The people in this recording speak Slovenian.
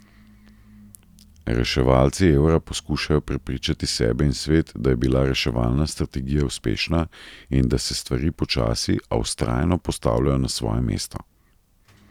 Reševalci evra poskušajo prepričati sebe in svet, da je bila reševalna strategija uspešna in da se stvari počasi, a vztrajno postavljajo na svoje mesto.